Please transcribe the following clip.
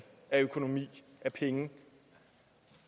af økonomi og penge